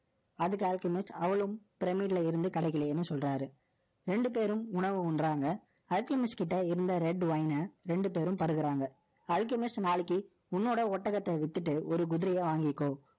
அதுக்கு Alchemist, அவளும் pyramid ல இருந்து கிடைக்கலையேன்னு சொல்றாரு ரெண்டு பேரும் உணவு உண்றாங்க. Alchemist கிட்ட இருந்த red wine அ, ரெண்டு பேரும் பருகுறாங்க. நாளைக்கு, உன்னோட ஒட்டகத்தை வித்துட்டு, ஒரு குதிரையை வாங்கிக்கோ.